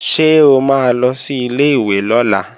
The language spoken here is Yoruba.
Ṣé o máa lọ sí ilé-ìwé lọ́la?